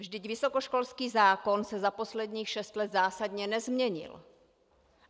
Vždyť vysokoškolský zákon se za posledních šest let zásadně nezměnil.